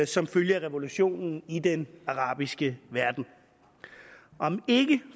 som følge af revolutionen i den arabiske verden om ikke